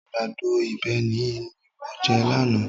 Àgbàdo ìbéèni ni mo jẹ lánàá